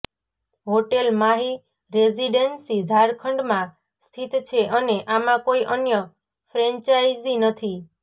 hotel Mahi residency Jharkhand માં સ્થિત છે અને આમાં કોઈ અન્ય ફ્રેન્ચાઇઝી નથી